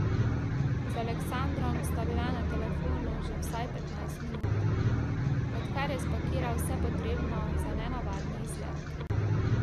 Z Aleksandrom sta bila na telefonu že vsaj petnajst minut, odkar je spakiral vse potrebno za nenavadni izlet.